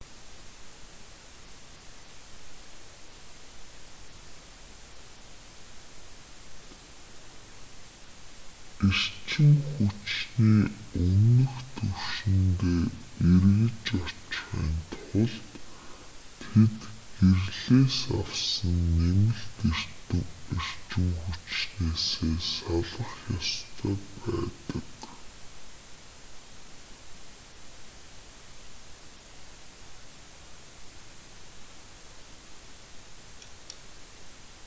эрчим хүчний өмнөх түвшиндээ эргэж очихын тулд тэд гэрлээс авсан нэмэлт эрчим хүчнээсээ салах ёстой байдаг